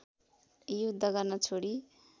युद्ध गर्न छोडी